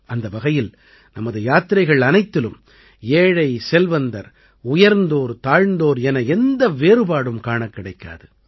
அந்த வகையில் நமது யாத்திரைகள் அனைத்திலும் ஏழைசெல்வந்தர் உயர்தோர்தாழ்ந்தோர் என எந்த வேறுபாடும் காணக் கிடைக்காது